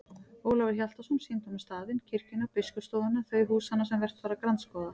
Ólafur Hjaltason sýndi honum staðinn, kirkjuna, biskupsstofuna, þau húsanna sem vert var að grandskoða.